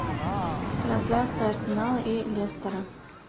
трансляция арсенала и лестера